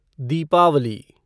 Deepawali